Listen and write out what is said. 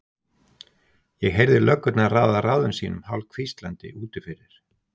Ég heyrði löggurnar ráða ráðum sínum hálfhvíslandi úti fyrir.